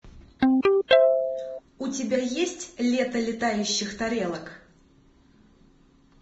у тебя есть лето летающих тарелок